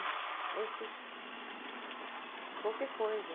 Aí eu fiz qualquer coisa.